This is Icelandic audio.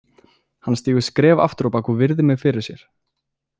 Hann stígur skref aftur á bak og virðir mig fyrir sér.